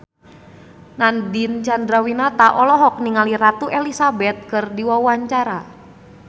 Nadine Chandrawinata olohok ningali Ratu Elizabeth keur diwawancara